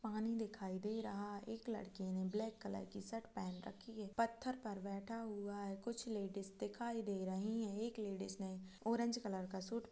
पानी दिखाई दे रहा है एक लड़के ने ब्लैक कलर की शर्ट पहन रखी है पत्थर पर बैठा हुआ है कुछ लेडिस दिखाई दे रही है एक लेडिस ने ऑरेंज कलर का सूट --